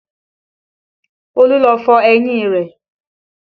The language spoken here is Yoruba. Olú lọ fọ eyín rẹ̀